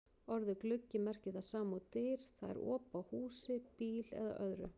Orðið gluggi merkir það sama og dyr, það er op á húsi, bíl eða öðru.